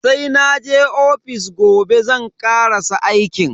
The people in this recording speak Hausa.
Sai naje ofis gobe zan karasa aikin.